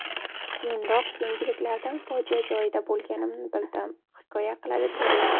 Keyinroq yangiliklardan fojia joyida bo‘lganimni bildim”, hikoya qiladi turist.